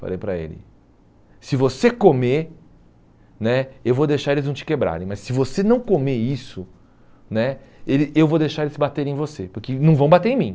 Falei para ele, se você comer né, eu vou deixar eles não te quebrarem, mas se você não comer isso né, ele eu vou deixar eles baterem em você, porque não vão bater em mim.